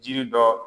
Jiri dɔ